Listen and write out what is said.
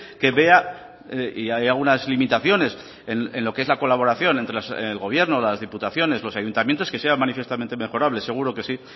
que vea y haya algunas limitaciones en lo que es la colaboración entre el gobierno las diputaciones los ayuntamientos que sean manifiestamente mejorables seguro que sí